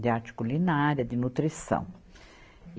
de arte culinária, de nutrição.